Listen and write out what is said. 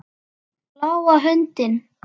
Bláa höndin.